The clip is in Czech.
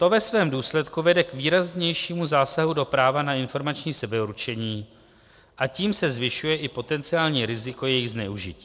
To ve svém důsledku vede k výraznějšímu zásahu do práva na informační sebeurčení a tím se zvyšuje i potenciální riziko jejich zneužití.